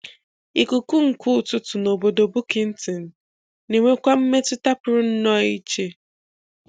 Ikuku nke ụtụtụ na obodo Bukittinggi na-enwekwa mmetụta pụrụ um iche.